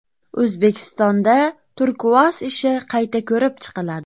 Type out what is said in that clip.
O‘zbekistonda Turkuaz ishi qayta ko‘rib chiqiladi.